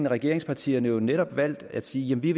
regeringspartierne jo netop valgt at sige at vi